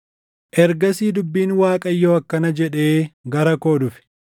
Ergasii dubbiin Waaqayyoo akkana jedhee gara koo dhufe;